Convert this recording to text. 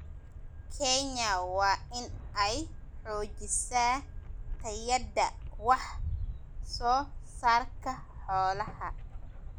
Kenya waa in ay xoojisaa tayada wax soo saarka xoolaha.